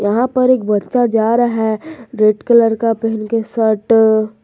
यहां पर एक बच्चा जा रहा है रेड कलर का पहन के शर्ट --